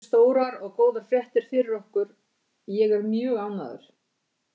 Þetta eru stórar og góðar fréttir fyrir okkur, ég er mjög ánægður.